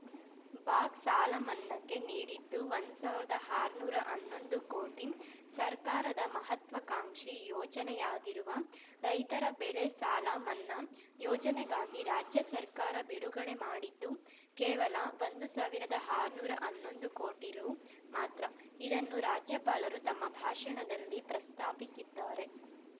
box ಸಾಲಮನ್ನಾಕ್ಕೆ ನೀಡಿದ್ದು ಒಂದ್ ಸಾವಿರ್ದಾ ಆರ್ನ್ನೂರ ಹನ್ನೊಂದು ಕೋಟಿ ಸರ್ಕಾರದ ಮಹತ್ವಾಕಾಂಕ್ಷಿ ಯೋಜನೆಯಾಗಿರುವ ರೈತರ ಬೆಳೆಸಾಲ ಮನ್ನಾ ಯೋಜನೆಗಾಗಿ ರಾಜ್ಯ ಸರ್ಕಾರ ಬಿಡುಗಡೆ ಮಾಡಿದ್ದು ಕೇವಲ ಒಂದ್ ಸಾವಿರ್ದಾ ಆರ್ನ್ನೂರ ಹನ್ನೊಂದು ಕೋಟಿ ರು ಮಾತ್ರ ಇದನ್ನು ರಾಜ್ಯಪಾಲರು ತಮ್ಮ ಭಾಷಣದಲ್ಲಿ ಪ್ರಸ್ತಾಪಿಸಿದ್ದಾರೆ